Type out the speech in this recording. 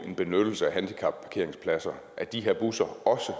en benyttelse af handicapparkeringspladser af de her busser også